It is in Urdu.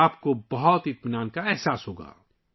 آپ بہت مطمئن محسوس کریں گے